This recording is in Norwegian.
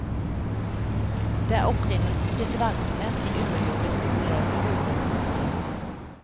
Det er opprinnelsen til dvergene, de underjordiske som lever i huler og grotter.